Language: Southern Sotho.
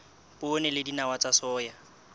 poone le dinawa tsa soya